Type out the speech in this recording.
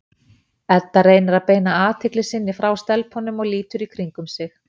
Edda reynir að beina athygli sinni frá stelpunum og lítur í kringum sig.